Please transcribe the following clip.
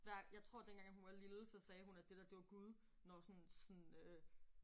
Der jeg tror dengang at hun var lille så sagde hun at det dér det var Gud når sådan sådan øh